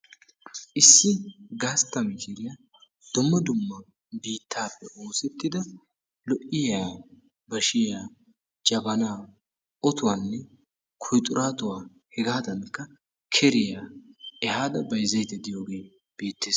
Issi gastta mishiriya dumma dumma biittaappe oosettida lo'iyaa bashiya, jabanaa, otuwanne kuuxuraatuwa hegaadankka keriya ehaada bayzzaydda de'iyogee beettees.